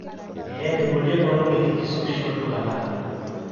eeh meboli enkolong e likizo oshi olduka lang